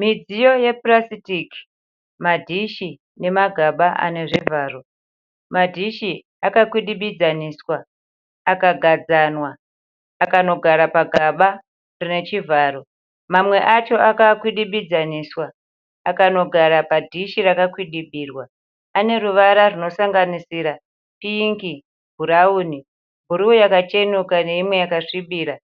Midziyo yepurasitiki, madhishi nemagaba ane zvivharo. Madhishi akakwidibidzaniswa akagadzanwa akanogara pagaba rine chivharo. Mamwe acho akakwidibidzaniswa akanogara padhishi rakakwidibirwa. Ane ruvara rwunosanganisira pingi, bhurawuni, bhuruu yakachenuruka neimwe yakasvibira,